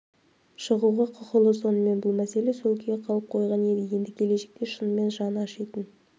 шығуға құқылы сонымен бұл мәселе сол күйі қалып қойған еді енді келешекте шынымен жаны ашитын